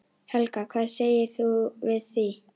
Helga: Hvað segir þú við því?